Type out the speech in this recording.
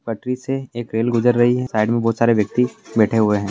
पटरी से एक रेल गुजर रही है साइड में बहुत सारे व्यक्ति बैंठे हुए हैं।